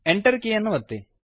Enter ಕೀಯನ್ನು ಒತ್ತಿ